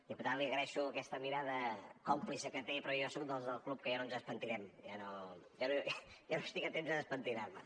diputat li agraeixo aquesta mirada còmplice que té però jo soc dels del club que ja no ens despentinem ja no estic a temps de despentinar me